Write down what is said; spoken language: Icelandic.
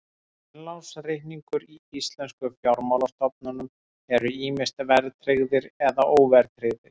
Innlánsreikningar í íslenskum fjármálastofnunum eru ýmist verðtryggðir eða óverðtryggðir.